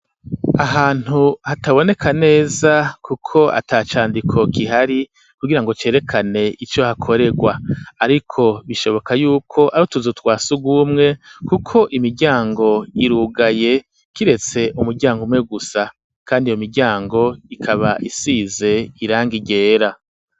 Ahantu hataboneka neza ,kuko atacandiko kihari ,kugirango cerekane ico hakoregwa ariko bishoboka yuko ari utuzutwasugumwe kuko, imiryango irugaye kiretse umuryango umwe gusa, kandi iyo miryango ikaba isize irangi ryera.